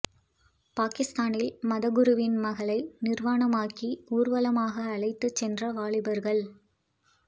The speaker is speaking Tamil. பாகிஸ்தானில் மத குருவின் மகளை நிர்வாணமாக்கி ஊர்வலமாக அழைத்துச் சென்ற வாலிபர்கள்